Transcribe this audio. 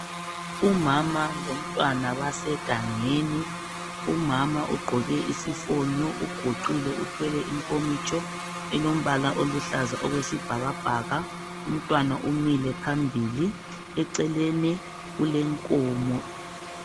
Umama lomntwana basegangeni. Umama ugqoke isifonyo, uguqile, uthwele inkomitsho elombala oluhlaza okwesibhakabhaka. Umntwana umile phambili, eceleni kulenkomo.